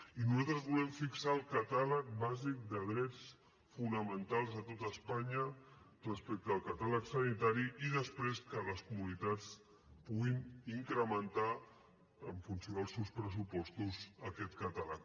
i nosaltres volem fixar el catàleg bàsic de drets fonamentals a tot espanya respecte al catàleg sanitari i després que les comunitats puguin incrementar en funció dels seus pressupostos aquest catàleg